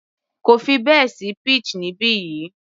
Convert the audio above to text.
Kò fi bẹ́ẹ̀ sí peach níbi yìí